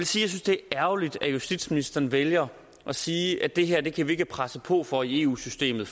synes det er ærgerligt at justitsministeren vælger at sige at det her kan vi ikke presse på for i eu systemet